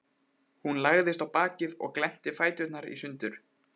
Hún lagðist á bakið og glennti fæturna sundur.